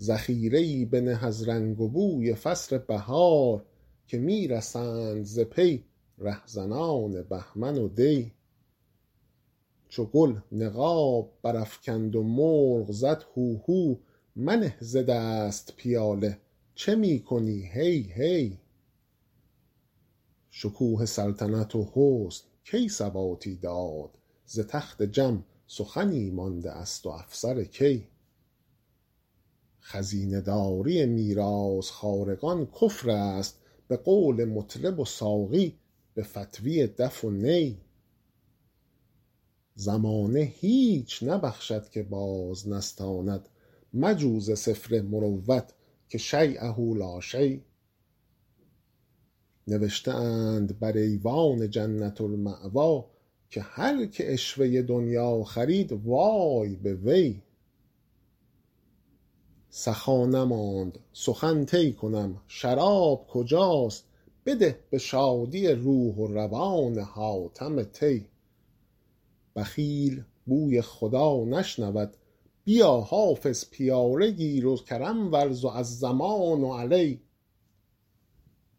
ذخیره ای بنه از رنگ و بوی فصل بهار که می رسند ز پی رهزنان بهمن و دی چو گل نقاب برافکند و مرغ زد هوهو منه ز دست پیاله چه می کنی هی هی شکوه سلطنت و حسن کی ثباتی داد ز تخت جم سخنی مانده است و افسر کی خزینه داری میراث خوارگان کفر است به قول مطرب و ساقی به فتویٰ دف و نی زمانه هیچ نبخشد که باز نستاند مجو ز سفله مروت که شییه لا شی نوشته اند بر ایوان جنة الماویٰ که هر که عشوه دنییٰ خرید وای به وی سخا نماند سخن طی کنم شراب کجاست بده به شادی روح و روان حاتم طی بخیل بوی خدا نشنود بیا حافظ پیاله گیر و کرم ورز و الضمان علی